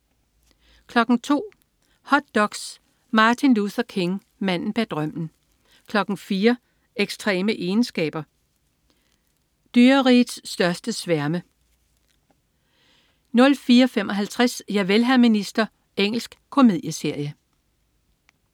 02.00 Hot doks: Martin Luther King: Manden bag drømmen 04.00 Ekstreme egenskaber. Dyrerigets største sværme 04.55 Javel, hr. minister. Engelsk komedieserie